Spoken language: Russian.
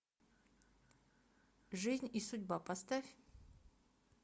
жизнь и судьба поставь